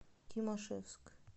тимашевск